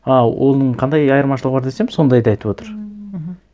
а оның қандай айырмашылығы бар десем сондайды айтып отыр ммм мхм